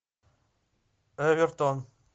эвертон